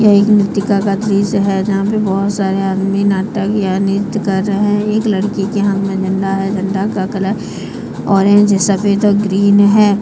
यह एक नृतिका का दृश्य है जहां पे बहोत सारे आदमी नाटक या नृत्य कर रहे हैं एक लड़की के हाथ में झंडा है झंडा का कलर ऑरेंज सफेद और ग्रीन है।